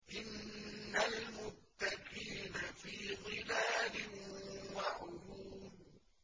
إِنَّ الْمُتَّقِينَ فِي ظِلَالٍ وَعُيُونٍ